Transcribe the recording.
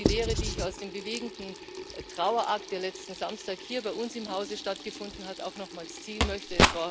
Das ist die Lehre, die ich aus dem bewegenden Trauerakt, der letzten Samstag hier bei uns im Hause stattgefunden hat, auch nochmals ziehen möchte.